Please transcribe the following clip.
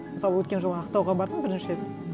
мысалы өткен жолы ақтауға бардым бірінші рет